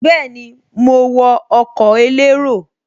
Bẹ́ẹ̀ni, mo wọ ọkọ̀ elérò